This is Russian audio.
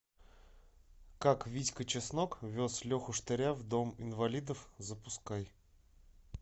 как витька чеснок вез леху штыря в дом инвалидов запускай